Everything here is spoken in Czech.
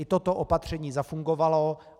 I toto opatření zafungovalo.